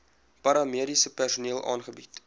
paramediese personeel aangebied